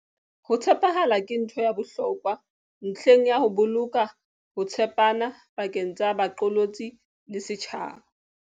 Ho tshepahala ke ntho ya bohlokwa ntlheng ya ho boloka ho tshepana pakeng tsa baqolotsi le setjhaba.